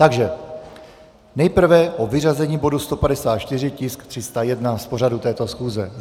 Takže nejprve o vyřazení bodu 154, tisk 301, z pořadu této schůze.